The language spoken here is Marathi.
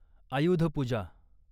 आयुध पूजा